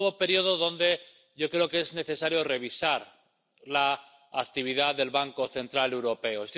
un nuevo período en el que yo creo que es necesario revisar la actividad del Banco Central Europeo.